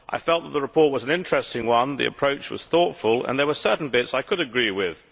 I felt that the report was an interesting one, the approach was thoughtful and there were certain bits I could agree with.